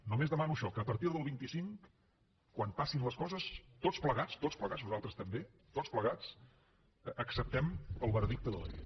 només demano això que a partir del vint cinc quan passin les coses tots plegats tots plegats nosaltres també tots plegats acceptem el veredicte de la gent